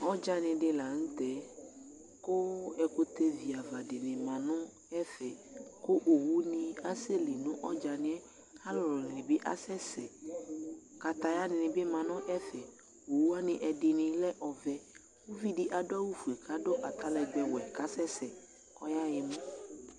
Ɔdzani di la ntɛKu ɛkutɛ vi ava dini ma nu ɛfɛKu ɔwu ni asɛ li nu ɔdzani yɛAlulu ni bi asɛsɛ Kataya ni bi ma nu ɛfɛ Owu wani ɛdini lɛ ɔvɛ Uvi di adu awu fue, ka du pantalɔn ɔvɛwɛ ka sɛsɛ kɔ ya yɛ mu